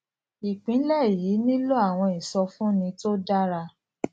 ìpínlè yìí nílò àwọn ìsọfúnni tó dára